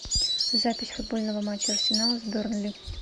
запись футбольного матча арсенала с бернли